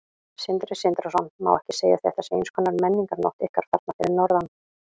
Sindri Sindrason: Má ekki segja að þetta sé eins konar menningarnótt ykkar þarna fyrir norðan?